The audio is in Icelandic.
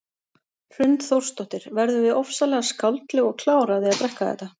Hrund Þórsdóttir: Verðum við ofsalega skáldleg og klár af því að drekka þetta?